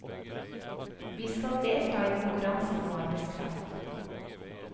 Vi skal delta i konkurransen om arbeidskraft.